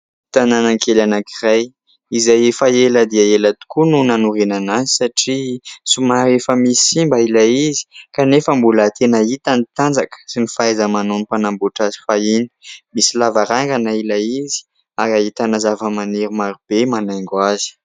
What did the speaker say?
Tanànakely anankiray, izay efa ela dia ela tokoa no nanorenana azy satria somary efa misy simba ilay izy kanefa mbola tena hita ny tanjaka sy ny fahaiza-manaon'ny mpanambotra azy fahiny; misy lavarangana ilay izy ary ahitana zava-maniry marobe manaingo azy.